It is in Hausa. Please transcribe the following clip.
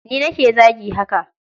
Ni nake zagi haka.